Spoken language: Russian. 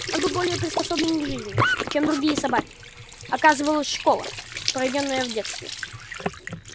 он был более приспособлен к жизни чем другие собаки оказывалась школа проведённая в детстве